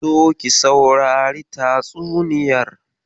Zo ki sausari tatsuniyar.